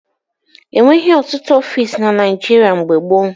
E nweghị ọtụtụ ọfiisi na Naịjịrịa mgbe gboo.